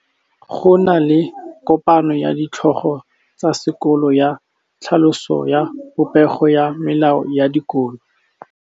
Go na le kopanô ya ditlhogo tsa dikolo ya tlhaloso ya popêgô ya melao ya dikolo.